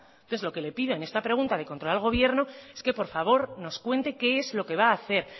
entonces lo que le pido en esta pregunta de control al gobierno es que por favor nos cuente qué es lo que va a hacer